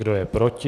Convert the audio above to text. Kdo je proti?